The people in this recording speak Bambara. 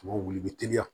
wuli bi teliya